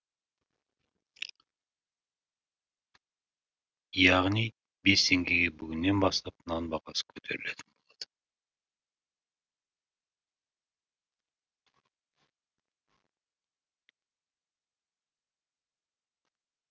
яғни бес теңгеге бүгіннен бастап нан бағасы көтерілетін болады